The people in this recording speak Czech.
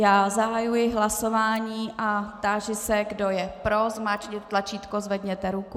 Já zahajuji hlasování a táži se, kdo je pro, zmáčkněte tlačítko, zvedněte ruku.